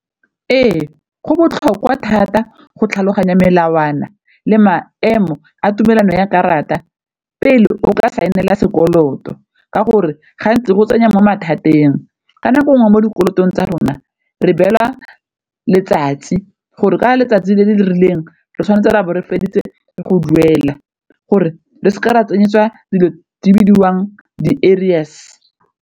Ee, go botlhokwa thata go tlhaloganya melawana le maemo a tumelano ya karata pele o ka saenela sekoloto, ka gore gantsi go tsenya mo mathateng. Ka nako nngwe mo dikolotong tsa rona re beelwa letsatsi gore ka letsatsi le le rileng re tshwanetse re ra bo re feditse go duela gore re seke ra tsenyetsiwa dilo di bidiwang di-arrears.